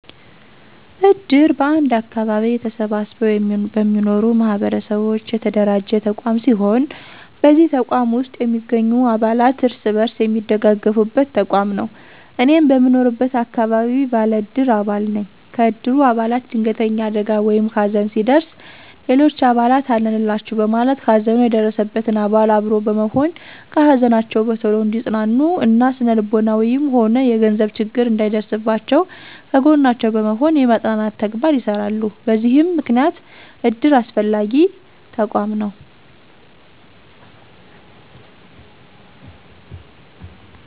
እድር በአንድ አከባቢ ተሰብስበው በሚኖሩ ማህበረሰቦች የተደራጀ ተቋም ሲሆን በዚህ ተቋም ውስጥ የሚገኙ አባላት እርስ በርስ የሚደጋገፉበት ተቋም ነው። እኔም በምኖርበት አከባቢ ባለ እድር አባል ነኝ። ከእድሩ አባላት ድንገተኛ አደጋ ወይም ሀዘን ሲደርስ ሌሎች አባላት አለንላቹ በማለት ሀዘኑ የደረሰበትን አባል አብሮ በመሆን ከሀዘናቸው በቶሎ እንዲፅናኑ እና ስነልቦናዊም ሆነ የገንዘብ ችግር እንዳይደርስባቸው ከጎናቸው በመሆን የማፅናናት ተግባር ይሰራሉ በዚህም ምክንያት እድር አስፈላጊ ተቋም ነው።